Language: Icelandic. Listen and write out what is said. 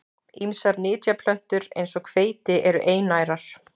Ýmsar nytjaplöntur eins og hveiti eru einærar.